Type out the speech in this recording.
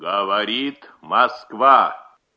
говорит москва